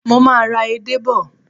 Mo máa ra ede bò.